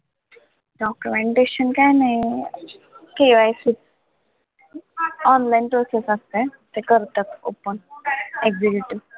documentation काय नाही, KYC online process असते, ते करतात open executive